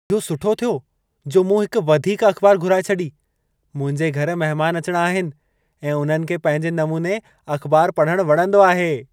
इहो सुठो थियो जो मूं हिक वधीक अख़बार घुराए छॾी! मुंहिंजे घर महिमान अचिणा आहिनि ऐं उन्हनि खे पंहिंजे नमूने अख़बारु पढ़णु वणंदो आहे।